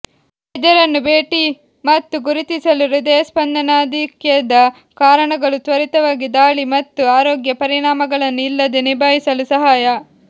ವೈದ್ಯರನ್ನು ಭೇಟಿ ಮತ್ತು ಗುರುತಿಸಲು ಹೃದಯಸ್ಪಂದನಾಧಿಕ್ಯದ ಕಾರಣಗಳು ತ್ವರಿತವಾಗಿ ದಾಳಿ ಮತ್ತು ಆರೋಗ್ಯ ಪರಿಣಾಮಗಳನ್ನು ಇಲ್ಲದೆ ನಿಭಾಯಿಸಲು ಸಹಾಯ